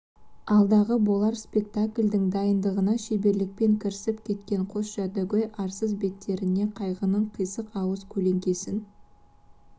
алдағы болар спектакльдің дайындығына шеберлікпен кірісіп кеткен қос жәдігөй арсыз беттеріне қайғының қисық ауыз көлеңкесін